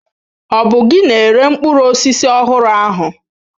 Ọ bụ gị na-ere mkpụrụ osisi ọhụrụ ahụ?